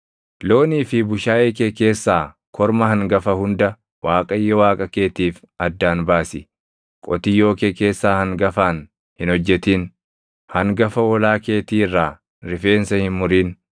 Loonii fi bushaayee kee keessaa korma hangafa hunda Waaqayyo Waaqa keetiif addaan baasi; qotiyyoo kee keessaa hangafaan hin hojjetin; hangafa hoolaa keetii irraa rifeensa hin murin.